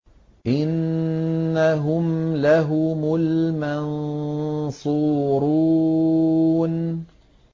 إِنَّهُمْ لَهُمُ الْمَنصُورُونَ